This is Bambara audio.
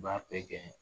U b'a bɛɛ gɛn